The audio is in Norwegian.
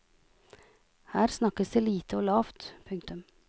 Her snakkes det lite og lavt. punktum